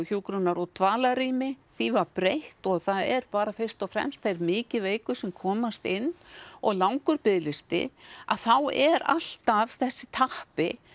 hjúkrunar og dvalarrými því var breytt og það eru bara fyrst og fremst þeir mikið veiku sem komast inn og langur biðlisti að þá er alltaf þessi tappi